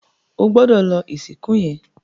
O gbódò lò ìsìnkú yén!